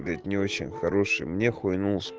не очень хорошим нехуя